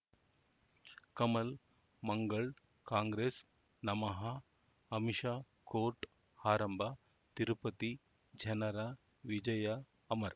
ಕಮಲ್ ಮಂಗಳ್ ಕಾಂಗ್ರೆಸ್ ನಮಃ ಅಮಿಷಾ ಕೋರ್ಟ್ ಆರಂಭ ತಿರುಪತಿ ಜನರ ವಿಜಯ ಅಮರ್